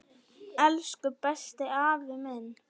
Elsku besti, afi minn.